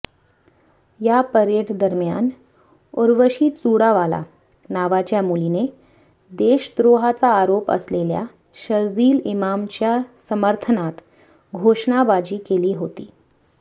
या परेडदरम्यान उर्वशी चुडावाला नावाच्या मुलीने देशद्रोहाचा आरोप असलेल्या शरजील इमामच्या समर्थनार्थ घोषणाबाजी केली होती